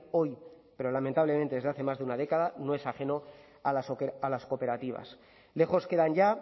hoy pero lamentablemente desde hace más de una década no es ajeno a las cooperativas lejos quedan ya